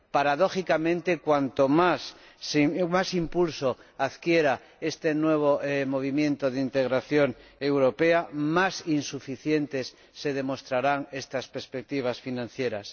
Paradójicamente cuanto más impulso adquiera este nuevo movimiento de integración europea, más insuficientes se demostrarán estas perspectivas financieras.